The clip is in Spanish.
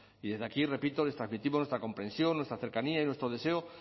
y desde aquí repito les transmitimos nuestra comprensión nuestra cercanía y nuestro deseo